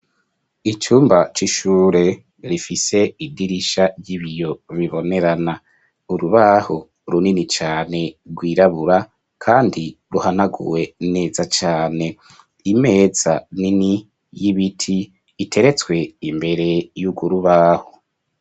Icumba c'ishure, rifise idirisha ry'ibiyo, bibonerana; urubaho, runini cane, rwirabura, kandi ruhanaguwe, neza cane; imeza nini, y'ibiti, iteretswe imbere, y'urwo rubaho.